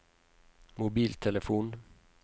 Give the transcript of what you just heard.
mobiltelefon